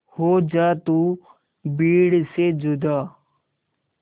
हो जा तू भीड़ से जुदा